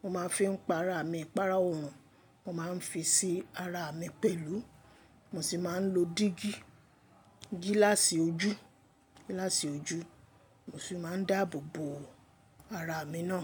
mo máa ń fi ń pa ara mi. Ìpara òòrùn mo máa ń fi sí ara mi pẹ̀lú mo sì máa ń lo dígí, gíláàsì ojú, gíláàsì ojú. Mo sì máa ń dáàbò bò ara mi náà.